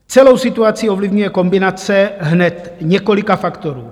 Celou situaci ovlivňuje kombinace hned několika faktorů.